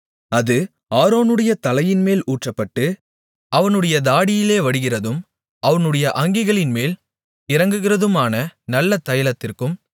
அது ஆரோனுடைய தலையின்மேல் ஊற்றப்பட்டு அவனுடைய தாடியிலே வடிகிறதும் அவனுடைய அங்கிகளின்மேல் இறங்குகிறதுமான நல்ல தைலத்திற்கும்